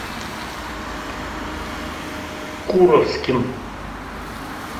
куровским